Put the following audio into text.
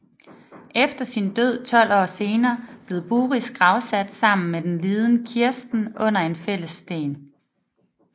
Efter sin død 12 år senere blev Buris gravsat sammen med liden Kirsten under en fælles sten